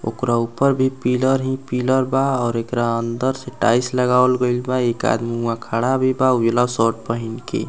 ओकरा ऊपर भी पिलर हीं पिलर बा और एकरा अंदर से टाइल्स लगावल गइल बा एक आदमी ऊहा खड़ा भी बा उजला शर्ट पहिन के।